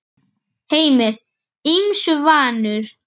Heimir: Ýmsu vanur?